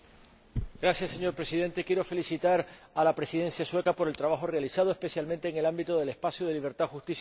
Señor Presidente, quiero felicitar a la Presidencia sueca por el trabajo realizado, especialmente, en el ámbito del espacio de libertad, justicia y seguridad.